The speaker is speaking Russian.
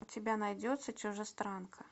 у тебя найдется чужестранка